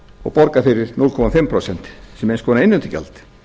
og borga fyrir hálft prósent sem eins konar innheimtugjald